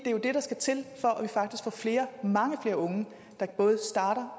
er jo det der skal til for at vi faktisk får flere og mange flere unge der både starter